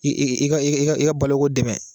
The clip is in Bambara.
Ka i ka boloko dɛmɛ